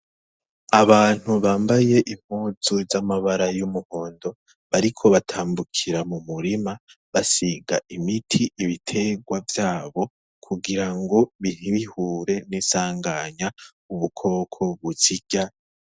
Abantu bambaye impuzu z'amabara y'umuhondo bariko batambukira mu murima basiga imiti ibiterwa vyabo kugira ngo bitbihure n'isanganya ubukoko busirya.